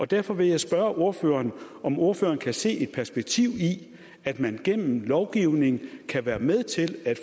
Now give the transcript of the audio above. derfor vil jeg spørge ordføreren om ordføreren kan se et perspektiv i at man gennem lovgivning kan være med til at